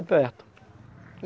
perto. e